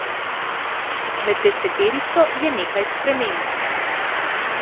Med deseterico je še nekaj sprememb.